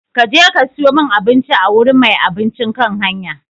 Ka je ka sayo min abinci a wurin mai abincin kan hanya!